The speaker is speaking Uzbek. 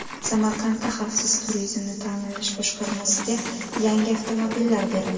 Samarqandda Xavfsiz turizmni ta’minlash boshqarmasiga yangi avtomobillar berildi .